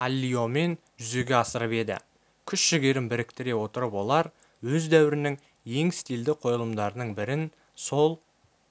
аллиомен жүзеге асырып еді күш-жігерін біріктіре отырып олар өз дәуірінің ең стильді қойылымдарының бірін сол